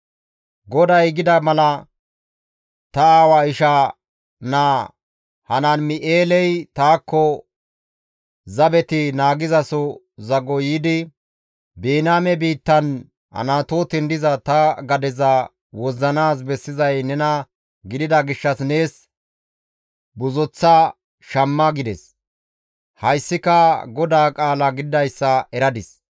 GODAY gida mala, ta aawa ishaa naa Hanaam7eeley taakko zabeti naagizaso zago yiidi, «Biniyaame biittan Anatooten diza ta gadeza wozzanaas bessizay nena gidida gishshas nees buzoththa shamma» gides; hayssika GODAA qaala gididayssa eradis.